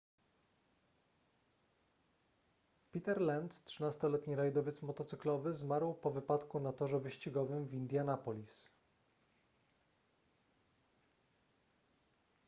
peter lenz 13-letni rajdowiec motocyklowy zmarł po wypadku na torze wyścigowym w indianapolis